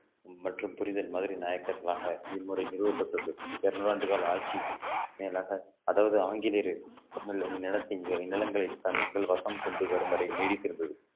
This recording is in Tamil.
மற்றும் புரிதல் மதுரை நாயக்கர்களாக இம்முறை நிறுவப்பட்டுள்ளது இருநூறு ஆண்டு கால ஆட்சி மேலாக அதாவது ஆங்கிலேயர் நிலத்தின் நிலங்களை தன் மக்கள் வசம் கொண்டு வரும் வரை நீடித்திருந்தது